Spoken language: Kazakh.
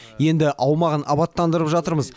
енді аумағын абаттандырып жатырмыз